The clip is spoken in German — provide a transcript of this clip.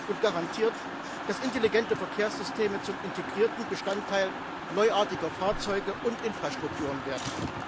und garantiert, dass intelligente Verkehrssysteme zum integrierten Bestandteil neuartiger Fahrzeuge und Infrastrukturen werden.